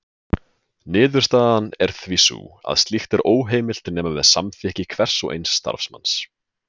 Niðurstaðan er því sú að slíkt er óheimilt nema með samþykki hvers og eins starfsmanns.